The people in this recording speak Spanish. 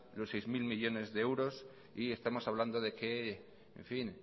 los seis mil millónes de euros y estamos hablando de que